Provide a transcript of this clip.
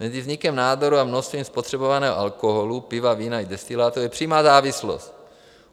Mezi vznikem nádoru a množstvím spotřebovaného alkoholu - piva, vína i destilátů - je přímá závislost.